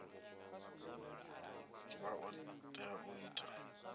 vha o tea u ita